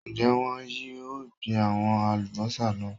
Ń jẹ́ wọn yìí ó gbin àwọn Alubọ́sá náà